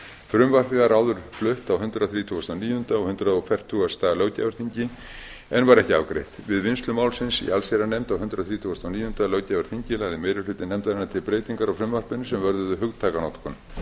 frumvarpið var áður flutt á hundrað þrítugasta og níunda og hundrað fertugasta löggjafarþingi en var ekki afgreitt við vinnslu málsins í allsherjarnefnd á hundrað þrítugasta og níunda löggjafarþingi lagði meiri hluti nefndarinnar til breytingar á frumvarpinu sem vörðuðu hugtakanotkun